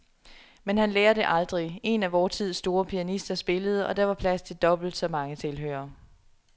Men han lærer det aldrig. En af vor tids store pianister spillede, og der var plads til dobbelt så mange tilhørere.